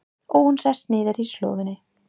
Og hún sest niður í slóðina.